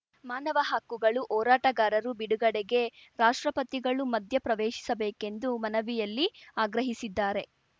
ಮಾನವ ಹಕ್ಕುಗಳು ಹೋರಾಟಗಾರರು ಬಿಡುಗಡೆಗೆ ರಾಷ್ಟ್ರಪತಿಗಳು ಮಧ್ಯ ಪ್ರವೇಶಿಸಬೇಕೆಂದು ಮನವಿಯಲ್ಲಿ ಆಗ್ರಹಿಸಿದ್ದಾರೆ